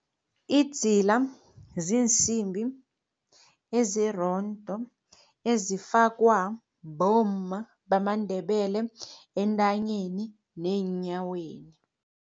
Idzila ziinsimbi ezirondo ezifakwa bomma bamaNdebele entanyeni neenyaweni.